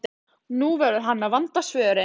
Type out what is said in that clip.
Nú verður hann að vanda svörin.